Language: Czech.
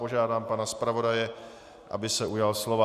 Žádám pana zpravodaje, aby se ujal slova.